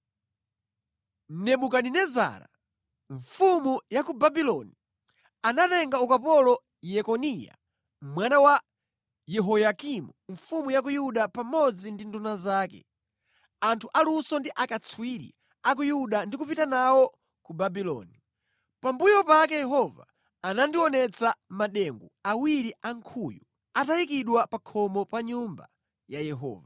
Nebukadinezara, mfumu ya ku Babuloni anatenga ukapolo Yekoniya mwana wa Yehoyakimu mfumu ya ku Yuda pamodzi ndi nduna zake, anthu aluso ndi akatswiri a ku Yuda ndi kupita nawo ku Babuloni. Pambuyo pake Yehova anandionetsa madengu awiri a nkhuyu atayikidwa pa khomo pa Nyumba ya Yehova.